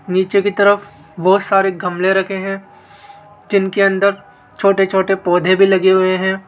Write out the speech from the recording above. नीचे की तरफ बहोत सारे गमले रखे हैं जिनके अंदर छोटे छोटे पौधे भी लगे हुए हैं।